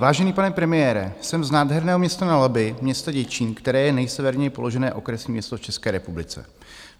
Vážený pane premiére, jsem z nádherného města na Labi, města Děčín, které je nejseverněji položené okresní město v České republice.